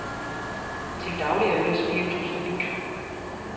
Til daglig er øl og spiritus forbudt.